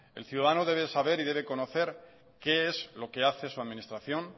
el ciudadano debe de saber y debe conocer qué es lo que hace su administración